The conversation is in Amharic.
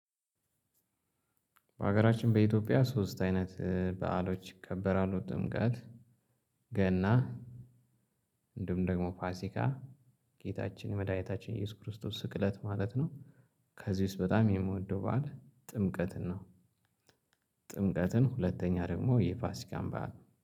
በሀገራችን በኢትዮጵያ ሶስት አይነት እ በዓሎች ይከበራሉ ጥምቀት ገና እንዲሁም ደግሞ ፋሲካ ጌታችን መድኃኒታችን ኢየሱስ ክርስቶስ ስቅለት ማለት ነው። ከዚህ ውስጥ በጣም የምወደው በዓል ጥምቀትን ነው። ጥምቀትን ሁለተኛ ደግሞ የፋሲካን በዓል